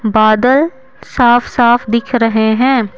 बादल साफ-साफ दिख रहे हैं।